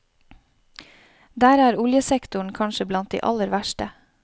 Der er oljesektoren kanskje blant de aller verste.